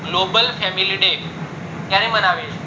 global family day ક્યારે મનાવે